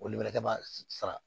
Olu bɛ kɛ ba sara